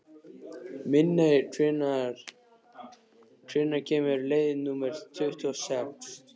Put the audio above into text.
Minney, hvenær kemur leið númer tuttugu og sex?